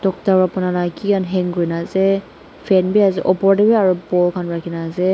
kiki hang kurinaase fan biase opor tae bi aro ball khan rakhina ase.